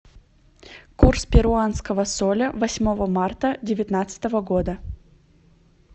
курс перуанского соля восьмого марта девятнадцатого года